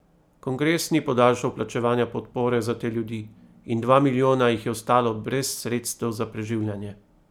Kongres ni podaljšal plačevanja podpore za te ljudi in dva milijona jih je ostalo brez sredstev za preživljanje.